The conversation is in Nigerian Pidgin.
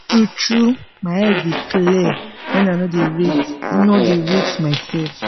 tru true my head dey clear when i nor dey rate nor dey rate myself